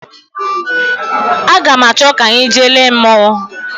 Aga m achọ ka anyị jee lee mmonwu